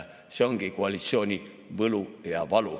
See ongi koalitsiooni võlu ja valu.